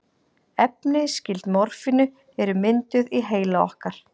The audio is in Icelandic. Efni skyld morfíni eru mynduð í heila okkar.